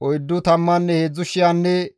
Paalu nay Elyaabe;